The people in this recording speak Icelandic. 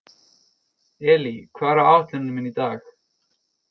Elí, hvað er á áætluninni minni í dag?